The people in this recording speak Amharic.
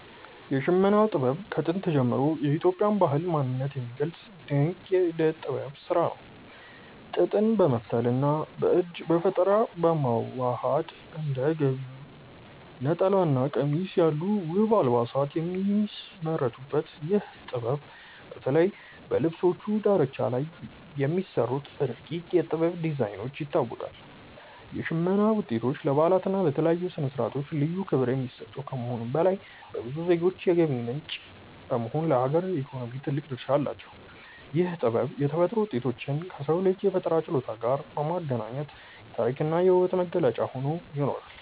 የሽመና ጥበብ ከጥንት ጀምሮ የኢትዮጵያን ባህልና ማንነት የሚገልጽ ድንቅ የእደ ጥበብ ስራ ነው። ጥጥን በመፍተልና በእጅ በፈጠራ በማዋሃድ እንደ ጋቢ፣ ነጠላና ቀሚስ ያሉ ውብ አልባሳት የሚመረቱበት ይህ ጥበብ፣ በተለይ በልብሶቹ ዳርቻ ላይ በሚሰሩት ረቂቅ የ"ጥበብ" ዲዛይኖች ይታወቃል። የሽመና ውጤቶች ለበዓላትና ለተለያዩ ስነ-ስርዓቶች ልዩ ክብር የሚሰጡ ከመሆኑም በላይ፣ ለብዙ ዜጎች የገቢ ምንጭ በመሆን ለሀገር ኢኮኖሚ ትልቅ ድርሻ አላቸው። ይህ ጥበብ የተፈጥሮ ውጤቶችን ከሰው ልጅ የፈጠራ ችሎታ ጋር በማገናኘት የታሪክና የውበት መገለጫ ሆኖ ይኖራል።